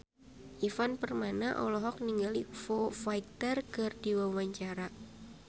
Ivan Permana olohok ningali Foo Fighter keur diwawancara